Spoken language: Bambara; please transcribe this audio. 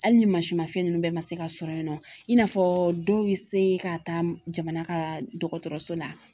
Hali ni masi ma fɛn ninnu bɛɛ ma se ka sɔrɔ yen nɔ i n'a fɔ dɔw ye se ka taa jamana ka dɔgɔtɔrɔso la